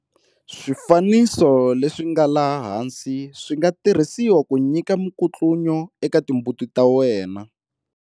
Swifanso leswi nga laha hansi swi nga tirhisiwa ku nyika minkutlunyo eka timbuti ta wena.